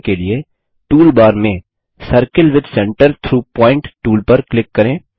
यह करने के लिए टूलबार में circle with centre through point tool पर क्लिक करें